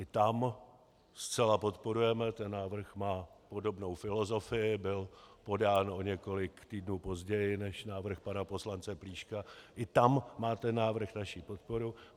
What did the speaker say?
I tam zcela podporujeme ten návrh, má podobnou filozofii, byl podán o několik týdnů později než návrh pana poslance Plíška, i tam má ten návrh naši podporu.